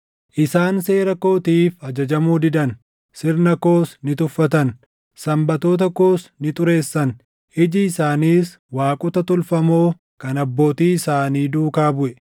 isaan seera kootiif ajajamuu didan; sirna koos ni tuffatan; Sanbatoota koos ni xureessan; iji isaaniis waaqota tolfamoo kan abbootii isaanii duukaa buʼe.